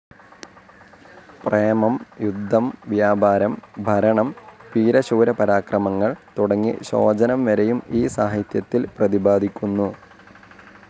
പ്രേമം, യുദ്ധം, വ്യാപരം, ഭരണം, വീരശൂരപരാക്രമങ്ങൾ തുടങ്ങി ശോചനം വരെയും ഈ സാഹിത്യത്തിൽ പ്രതിപാദിക്കുന്നു.